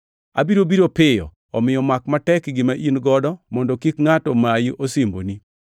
Abiro biro piyo. Omiyo mak matek gima in-go mondo kik ngʼato mayi osimboni.